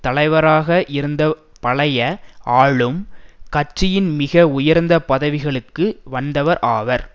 தலைவராக இருந்தபழைய ஆளும் கட்சியின் மிக உயர்ந்த பதவிகளுக்கு வந்தவர் ஆவார்